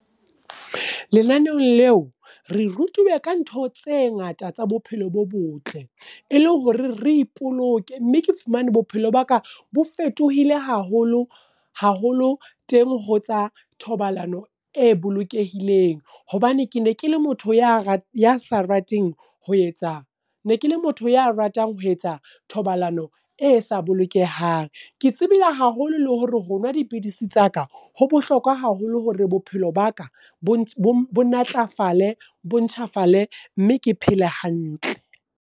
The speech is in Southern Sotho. Lenaneong leo, re rutuwe ka ntho tse ngata tsa bophelo bo botle. E le hore re ipoloke, mme ke fumane bophelo ba ka bo fetohile haholo, haholo teng ho tsa thobalano e bolokehileng. Hobane ke ne ke le motho ya sa rateng ho etsa, ne ke le motho ya ratang ho etsa thobalano e sa bolokehang. Ke tsebile haholo le hore ho nwa dipidisi tsaka, ho bohlokwa haholo hore bophelo baka bo natlafale, bo ntjhafale, mme ke phele hantle.